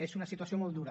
és una situació molt dura